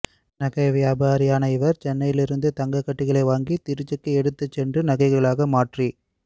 நகை வியாபாரியான இவர் சென்னையில் இருந்து தங்க கட்டிகளை வாங்கி திருச்சிக்கு எடுத்துச்சென்று நகைகளாக மாற்றி